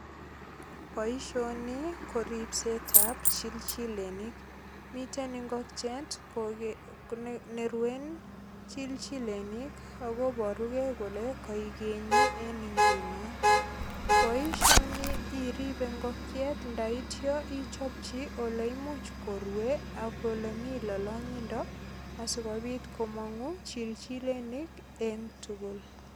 Boisioni ko ripset ab chilchilenik. Miten ingokiet koge, neruen chilchilenik ak kobaruge kole kaigenyi en inguno. Boisioni iripe ingokiet ndaityo ichopchi oleimuch korue ak olemi lolongindo asikopit komongu chilchilenik en tugul.